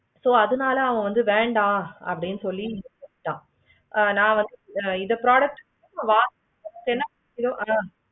ஓ அதுனால அவன் வந்து வேண்டாம் அப்படி சொல்லி விட்டான். அவளுக்கு இந்த product